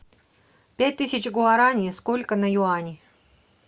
пять тысяч гуарани сколько на юани